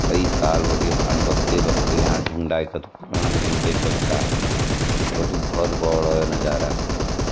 कई साल बटिन यफन डुंग देख सक छा कति भोल बोडो नजारा।